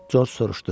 Corc soruşdu.